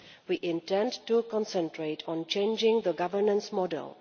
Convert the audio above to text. We intend to concentrate on changing the governance model.